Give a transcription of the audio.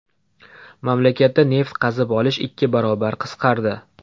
Mamlakatda neft qazib olish ikki barobar qisqardi.